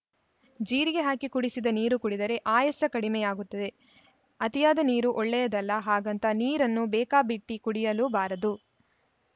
ಜೀರಿಗೆ ಹಾಕಿ ಕುಡಿಸಿದ ನೀರು ಕುಡಿದರೆ ಅಯಾಸ ಕಡಿಮೆಯಾಗುತ್ತದೆ ಅತಿಯಾದ ನೀರೂ ಒಳ್ಳೆಯದಲ್ಲ ಹಾಗಂತ ನೀರನ್ನು ಬೇಕಾಬಿಟ್ಟಿಕುಡಿಯಲೂಬಾರದು